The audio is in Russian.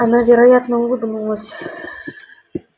она вероятно улыбнулась